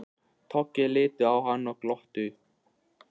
Toggi litu á hann og glottu.